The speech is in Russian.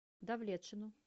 давлетшину